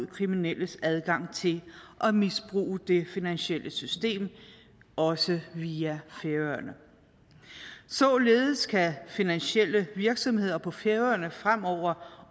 kriminelles adgang til at misbruge det finansielle system også via færøerne således kan finansielle virksomheder på færøerne fremover